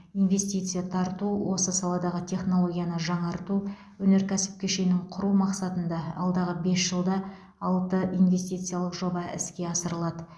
инвестиция тарту осы саладағы технологияны жаңарту агроөнеркәсіп кешенін құру мақсатында алдағы бес жылда алты инвестициялық жоба іске асырылады